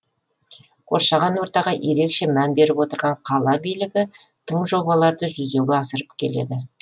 қоршаған ортаға ерекше мән беріп отырған қала билігі тың жобаларды жүзеге асырып келеді